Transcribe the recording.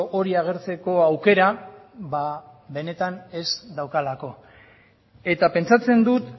hori agertzeko aukera ba benetan ez daukalako eta pentsatzen dut